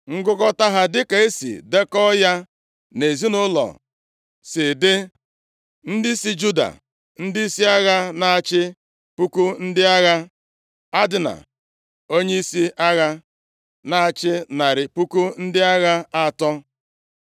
Ngụkọta ha dịka e si dekọọ ya nʼezinaụlọ si dị: Ndị si Juda, ndịisi agha na-achị puku ndị agha (1,000), Adna, onyeisi agha, na-achị narị puku ndị agha atọ (300,000),